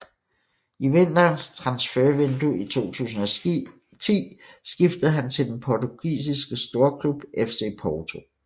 I vinterens transfervindue i 2010 skiftede han til den portugisiske storklub FC Porto